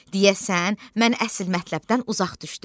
Deyəsən, mən əsl mətləbdən uzaq düşdüm.